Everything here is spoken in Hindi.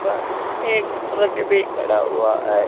ब एक ट्रक भी खड़ा हुआ है।